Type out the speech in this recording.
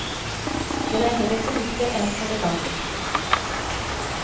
Kle deg heller fornuftig enn elegant.